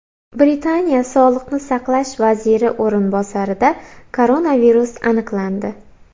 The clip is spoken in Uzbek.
Britaniya sog‘liqni saqlash vaziri o‘rinbosarida koronavirus aniqlandi.